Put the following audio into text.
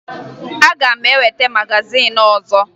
Aga m eweta magazin ọzọ